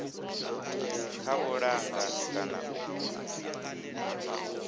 kha u langa kana u